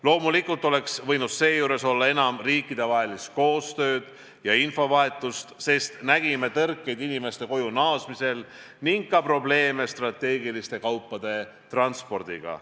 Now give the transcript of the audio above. Loomulikult oleks võinud seejuures olla enam riikidevahelist koostööd ja infovahetust, sest nägime tõrkeid inimeste koju naasmisel ning ka probleeme strateegiliste kaupade transpordiga.